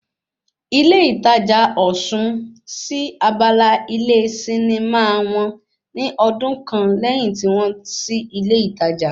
Ilé ìtajà Osun sí abala ilé sinimá wọn ní ọdún kan lẹ́yìn tí wọ́n sí ilé ìtajà